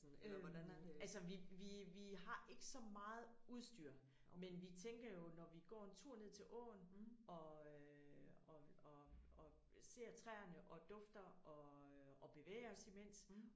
Øh altså vi vi vi har ikke så meget udsyr men vi tænker jo når vi går en tur ned til åen og øh og og og ser træerne og dufter og og bevæger os imens